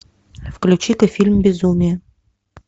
включи ка фильм безумие